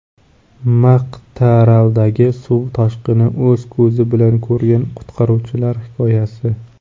Maqtaaraldagi suv toshqinini o‘z ko‘zi bilan ko‘rgan qutqaruvchilar hikoyasi.